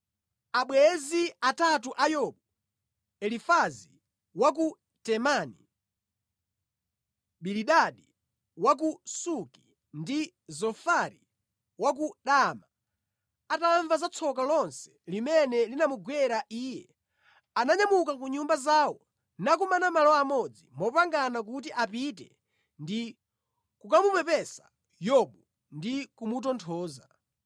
Abwenzi atatu a Yobu, Elifazi wa ku Temani, Bilidadi wa ku Suki ndi Zofari wa ku Naama, atamva za tsoka lonse limene linamugwera iye, ananyamuka ku nyumba zawo nakumana malo amodzi mopangana kuti apite ndi kukamupepesa Yobu ndi kumutonthoza.